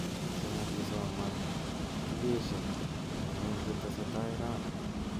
Cheng ak kisoman tukeshek eng ngony chetestai raini